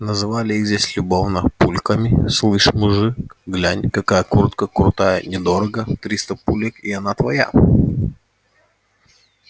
называли их здесь любовно пульками слышь мужик глянь какая куртка крутая недорого триста пулек и она твоя